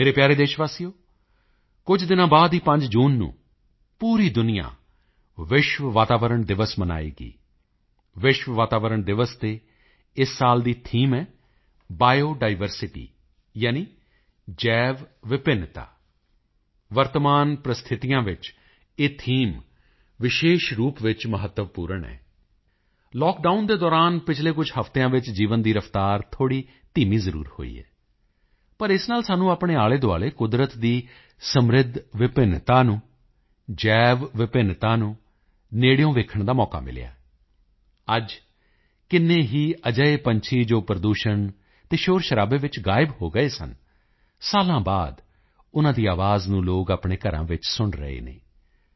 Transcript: ਮੇਰੇ ਪਿਆਰੇ ਦੇਸ਼ਵਾਸੀਓ ਕੁਝ ਦਿਨਾਂ ਬਾਅਦ ਹੀ 5 ਜੂਨ ਨੂੰ ਪੂਰੀ ਦੁਨੀਆ ਵਿਸ਼ਵ ਵਾਤਾਵਰਣ ਦਿਵਸ ਮਨਾਏਗੀ ਵਿਸ਼ਵ ਵਾਤਾਵਰਣ ਦਿਵਸ ਤੇ ਇਸ ਸਾਲ ਦੀ ਥੀਮ ਹੈ ਬੀਆਈਓ ਡਾਇਵਰਸਿਟੀ ਯਾਨੀ ਜੈਵਵਿਭਿੰਨਤਾ ਵਰਤਮਾਨ ਪਰਿਥਿਤੀਆਂ ਵਿੱਚ ਇਹ ਥੀਮ ਵਿਸ਼ੇਸ਼ ਰੂਪ ਵਿੱਚ ਮਹੱਤਵਪੂਰਨ ਹੈ ਲਾਕਡਾਊਨ ਦੇ ਦੌਰਾਨ ਪਿਛਲੇ ਕੁਝ ਹਫ਼ਤਿਆਂ ਵਿੱਚ ਜੀਵਨ ਦੀ ਰਫ਼ਤਾਰ ਥੋੜ੍ਹੀ ਧੀਮੀ ਜ਼ਰੂਰ ਹੋਈ ਹੈ ਪਰ ਇਸ ਨਾਲ ਸਾਨੂੰ ਆਪਣੇ ਆਲੇਦੁਆਲੇ ਕੁਦਰਤ ਦੀ ਸਮ੍ਰਿੱਧ ਵਿਭਿੰਨਤਾ ਨੂੰ ਜੈਵਵਿਭਿੰਨਤਾ ਨੂੰ ਨੇੜੇ ਤੋਂ ਦੇਖਣ ਦਾ ਮੌਕਾ ਵੀ ਮਿਲਿਆ ਹੈ ਅੱਜ ਕਿੰਨੇ ਹੀ ਅਜਿਹੇ ਪੰਛੀ ਜੋ ਪ੍ਰਦੂਸ਼ਣ ਅਤੇ ਸ਼ੋਰਸ਼ਰਾਬੇ ਵਿੱਚ ਗਾਇਬ ਹੋ ਗਏ ਸਨ ਸਾਲਾਂ ਬਾਅਦ ਉਨ੍ਹਾਂ ਦੀ ਆਵਾਜ਼ ਨੂੰ ਲੋਕ ਆਪਣੇ ਘਰਾਂ ਵਿੱਚ ਸੁਣ ਰਹੇ ਹਨ